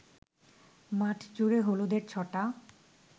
মাঠজুড়ে হলুদের ছটা